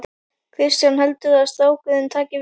Kristján: Heldurðu að strákurinn taki við?